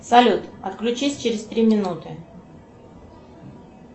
салют отключись через три минуты